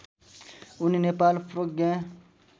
उनी नेपाल प्रज्ञा